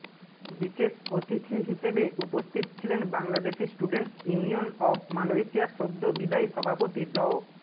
বিশেষ অতিথি হিসেবে উপস্থিত ছিলেন বাংলাদেশি স্টুডেন্টস ইউনিয়ন অব মালয়েশিয়ার সদ্য বিদায়ী সভাপতি ড